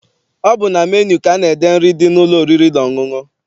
Ọ bụ na menu ka ana-ede nri dị n'ụlọ oriri na ọṅụṅụ.